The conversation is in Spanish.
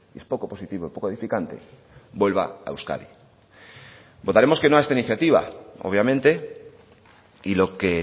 es poco positivo poco edificante vuelva a euskadi votaremos que no a esta iniciativa obviamente y lo que